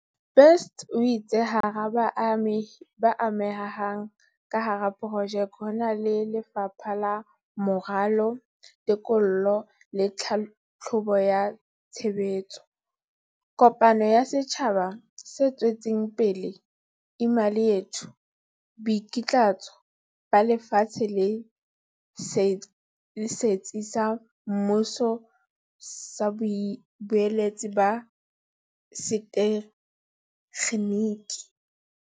Best o itse hara baamehi ba amehang ka hara projeke ho na le Lefapha la Moralo, Teko lo le Tlhahlobo ya Tshebetso kopano ya setjhaba se tswetseng pele Imali Yethu, Boikitlaetso ba Lefatshe le Setsi sa Mmuso sa Boeletsi ba Setekgeniki.